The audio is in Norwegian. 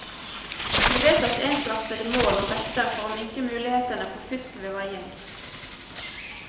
Det ble vedtatt ensartede mål og vekter for å minke mulighetene for fusk ved veiing.